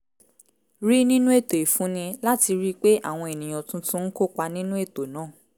rí nínú ètò ìfúnni láti rí i pé àwọn ènìyàn tuntun ń kópa nínú ètò náà